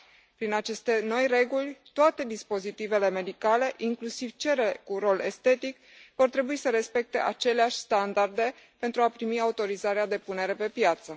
Prin aceste noi reguli, toate dispozitivele medicale, inclusiv cele un rol estetic vor trebui să respecte aceleași standarde pentru a primi autorizarea de punere pe piață.